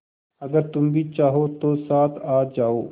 अगर तुम चाहो तो साथ आ जाओ